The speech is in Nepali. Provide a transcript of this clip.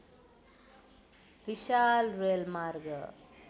विशाल रेलमार्ग